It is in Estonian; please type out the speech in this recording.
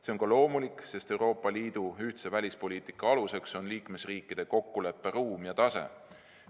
See on ka loomulik, sest Euroopa Liidu ühtse välispoliitika aluseks on liikmesriikide kokkuleppe ruum ja tase.